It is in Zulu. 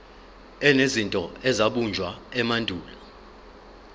enezinto ezabunjwa emandulo